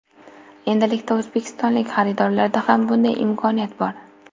Endilikda o‘zbekistonlik xaridorlarda ham bunday imkoniyat bor.